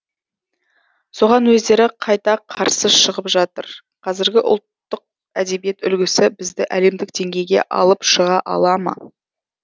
соған өздері қайта қарсы шығып жатыр қазіргі ұлттық әдебиет үлгісі бізді әлемдік деңгеи ге алып шыға ала ма